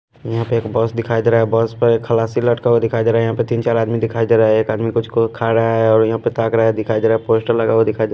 यहाँ पे एक बस दिखाई दे रहा है बस पे खलासी लटका हुआ दिखाई दे रहा है यहाँ पे तीन चार आदमी दिखाई दे रहा है एक आदमी कुछ खा रहा है और यहाँ पे ताक रहा है दिखाई दे रहा है पोस्टर लगा हुआ दिखाई दे --